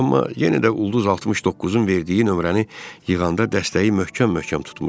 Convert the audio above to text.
Amma yenə də ulduz 69-un verdiyi nömrəni yığanda dəstəyi möhkəm-möhkəm tutmuşdu.